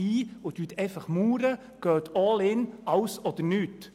Sie verweigern sich der Diskussion und sagen einfach «alles oder nichts».